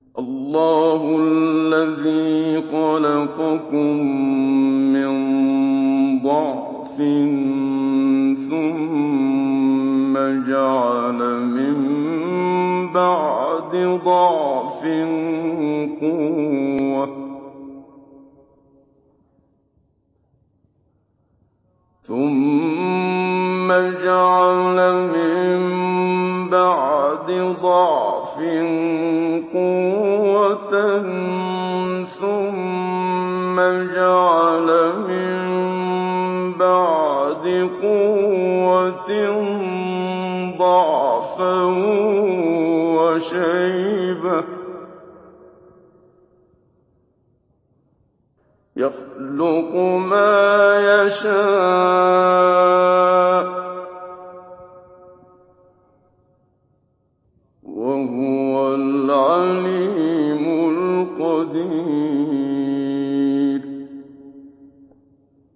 ۞ اللَّهُ الَّذِي خَلَقَكُم مِّن ضَعْفٍ ثُمَّ جَعَلَ مِن بَعْدِ ضَعْفٍ قُوَّةً ثُمَّ جَعَلَ مِن بَعْدِ قُوَّةٍ ضَعْفًا وَشَيْبَةً ۚ يَخْلُقُ مَا يَشَاءُ ۖ وَهُوَ الْعَلِيمُ الْقَدِيرُ